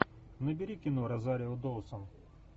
набери кино розарио доусон